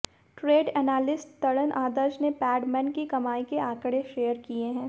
trade analyst Taran Adarsh ने पैडमैन की कमाई के आंकड़े शेयर किए हैं